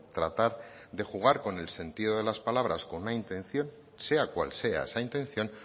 tratar de jugar con el sentido de las palabras con una intención sea cual sea esa intención